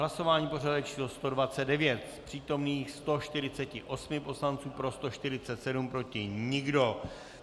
Hlasování pořadové číslo 129, z přítomných 148 poslanců pro 147, proti nikdo.